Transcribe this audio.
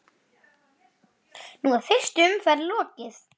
Nú er fyrstu umferð lokið.